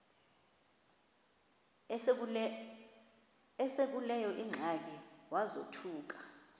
esekuleyo ingxaki wazothuka